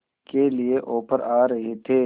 के लिए ऑफर आ रहे थे